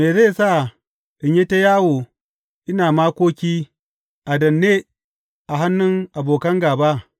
Me zai sa in yi ta yawo ina makoki, a danne a hannun abokin gāba?